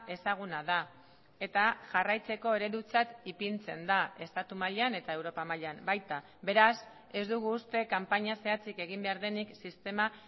ezaguna da eta jarraitzeko eredutzat ipintzen da estatu mailan eta europa mailan baita beraz ez dugu uste kanpaina zehatzik egin behar denik sistema